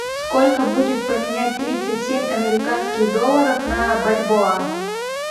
сколько будет поменять тридцать семь американских долларов на бальбоа